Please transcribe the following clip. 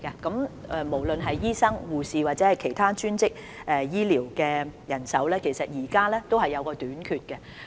不論是醫生、護士或其他專職醫療人員，人手現時皆出現短缺。